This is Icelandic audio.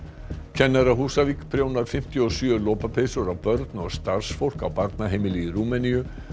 kennari á Húsavík prjónar fimmtíu og sjö lopapeysur á börn og starfsfólk á barnaheimili í Rúmeníu